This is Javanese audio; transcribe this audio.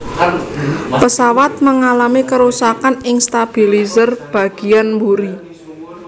Pesawat mengalami kerusakan ing stabilizer bagiyan mburi